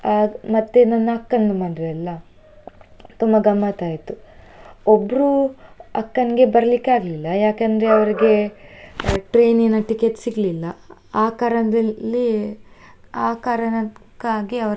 ಆಗ್ ಮತ್ತೆ ನನ್ನ ಅಕ್ಕಂದು ಮದ್ವೆ ಅಲ್ಲಾ ತುಂಬಾ ಗಮ್ಮತ್ತ್ ಆಯ್ತು. ಒಬ್ರು ಅಕ್ಕಂಗೆ ಬರಲಿಕ್ಕೆ ಆಗ್ಲಿಲ್ಲ, ಯಾಕಂದ್ರೆ ಅವ್ರಿಗೆ train ಇನ ticket ಸಿಗ್ಲಿಲ್ಲ ಆ ಕಾರಣದಲ್ಲಿ, ಆ ಕಾರಣಕ್ಕಾಗಿ ಅವ್ರಿಗೆ.